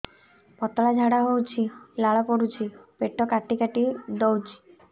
ପତଳା ଝାଡା ହଉଛି ଲାଳ ପଡୁଛି ପେଟ କାଟି କାଟି ଦଉଚି